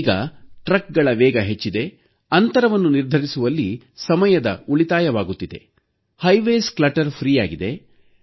ಈಗ ಟ್ರಕ್ಗಳ ವೇಗ ಹೆಚ್ಚಿದೆ ಹೆದ್ದಾರಿಗಳು ಅಡಚಣೆ ಮುಕ್ತ ಆಗಿವೆ